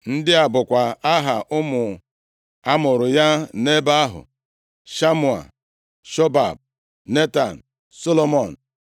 Ndị a bụkwa aha ụmụ a mụụrụ ya nʼebe ahụ: Shamua, Shobab, Netan, Solomọn,